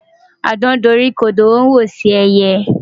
Àdán doríkodò ó ń wòṣe ẹyẹ.